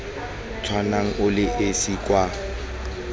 tshwanang o le esi kwa